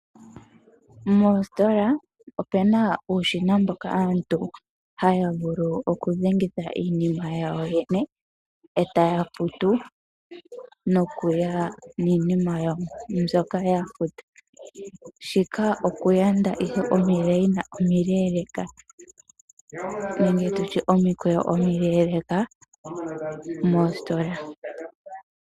Moositola omuna uushina aantu haya vulu okudhengitha iinima yawo yene e ta ya futu nokuya niinima yawo mbyoka ya futa, shika okuyanda ihe omikweyo omileeleeka moositola.